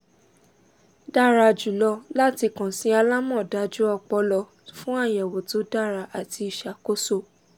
dara julọ lati kan si alamọdaju ọpọlọ fun ayẹwo to dara ati iṣakoso